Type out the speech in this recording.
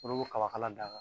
D'ɔlu bo Kaba kala da kan.